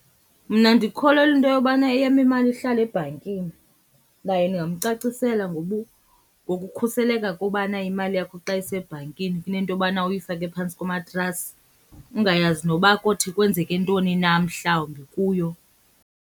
Mna ndikholelwa into yobana eyam imali ihlale ebhankini. Naye ndingamcacisela ngokukhuseleka kobana imali yakho xa isebhankini kunento yobana uyifake phantsi komatrasi, ungayazi noba kothi kwenzeke ntoni na mhlawumbi kuyo.